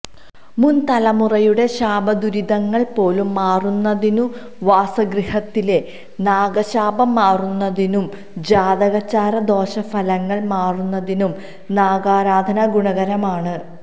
മുൻ തലമുറയുടെ ശാപദുരിതങ്ങൾ പോലും മാറുന്നതിനും വാസഗൃഹത്തിലെ നാഗശാപം മാറുന്നതിനും ജാതകചാര ദോഷഫലങ്ങൾ മാറുന്നതിനും നാഗാരാധന ഗുണകരമാണ്